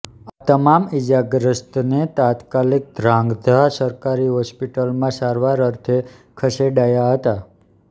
આ તમામ ઇજાગ્રસ્તને તાત્કાલીક ધ્રાંગધ્રા સરકારી હોસ્પીટમાં સારવાર અર્થે ખસેડાયા હતા